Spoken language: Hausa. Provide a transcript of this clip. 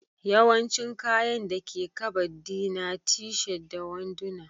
Yawancin kayan dake Kabad di na t-shirt da wanduna